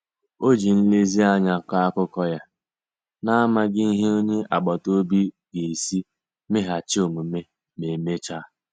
Ọ ji nlezianya kọọ akụkọ ya, n'amaghị ihe onye agbata obi ga-esi meghachi omume ma emechaa.